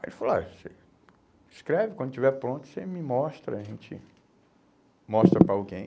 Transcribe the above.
Aí ele falou assim, olhe, você escreve, quando estiver pronto você me mostra, a gente mostra para alguém.